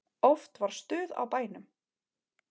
Oft var stuð á bænum.